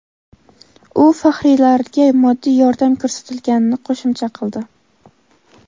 u faxriylarga moddiy yordam ko‘rsatilganini qo‘shimcha qildi.